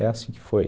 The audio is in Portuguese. É assim que foi.